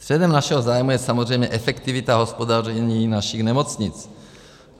Středem našeho zájmu je samozřejmě efektivita hospodaření našich nemocnic.